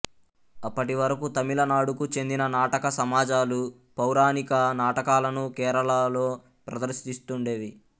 అప్పటివరకూ తమిళనాడుకు చెందిన నాటక సమాజాలు పౌరాణిక నాటకాలను కేరళలో ప్రదర్శిస్తుండేవి